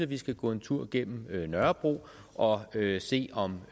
vi skal gå en tur gennem nørrebro og se om